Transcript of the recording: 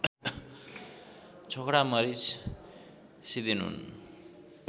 छोकडा मरिच सिदेनुन